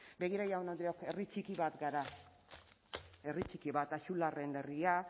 begira jaun andreok herri txiki bat gara herri txiki bat axularren herria